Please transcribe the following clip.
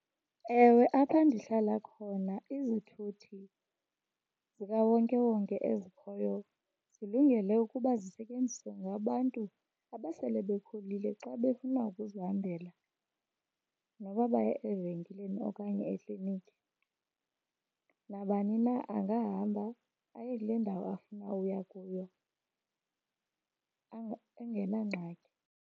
Ewe, apha ndihlala khona izithuthi zikawonkewonke ezikhoyo zilungele ukuba zisetyenziswe ngabantu abasele bekhulile xa befuna ukuzihambela noba baya evenkileni okanye ekliniki. Nabani na angahamba aye kule ndawo afuna uya kuyo engenangxaki.